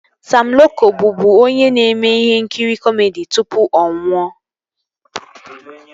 Sam Loko bụbu onye ome ihe nkiri kọmedi tụpụ ọ nwụọ